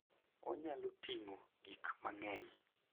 Onyalo ting'o gik mang'eny.